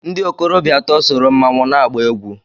Ndị okorobịa atọ sọrọ mmanwụ na-agba egwú